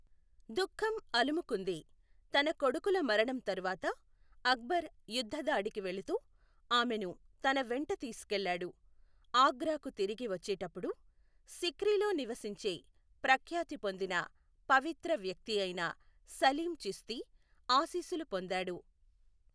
దుఃఖం అలుముకుంది, తన కొడుకుల మరణం తరువాత అక్బర్ యుద్ధ దాడికి వెళుతూ ఆమెను తన వెంట తీసుకెళ్ళాడు, ఆగ్రాకు తిరిగి వచ్చేటప్పుడు, సిక్రీలో నివసించే ప్రఖ్యాతి పొందిన పవిత్ర వ్యక్తియైన సలీం చిస్తి ఆశీస్సులు పొందాడు.